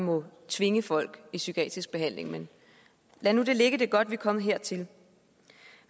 må tvinge folk i psykiatrisk behandling men lad nu det ligge det er godt vi er kommet hertil